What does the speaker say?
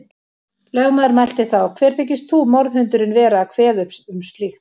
Lögmaður mælti þá: Hver þykist þú, morðhundurinn, vera að kveða upp um slíkt.